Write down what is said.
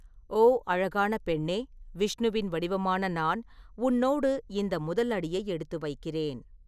ஓ! அழகான பெண்ணே, விஷ்ணுவின் வடிவமான நான், உன்னோடு இந்த முதல் அடியை எடுத்து வைக்கிறேன்.